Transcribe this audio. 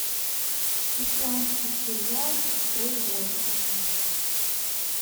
исландский сериал про воинов